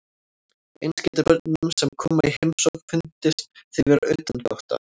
Eins getur börnunum sem koma í heimsókn fundist þau vera utangátta.